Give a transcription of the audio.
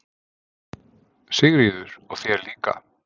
Sigríður: Og þér líka?